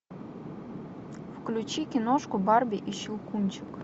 включи киношку барби и щелкунчик